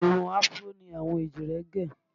Irun afuró ni àwọn èjìrẹ́ gẹ̀